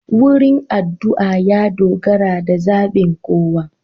Wurin adu'a ya dogara da zabin kowa.